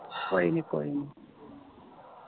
ਕੋਈ ਨੀ ਕੋਈ ਨੀ